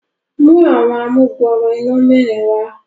mú Àwọn amugbooro iná mẹrin wá.